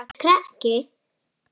Sætur krakki!